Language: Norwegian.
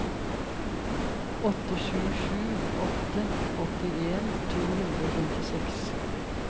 åtte sju sju åtte åttien to hundre og femtiseks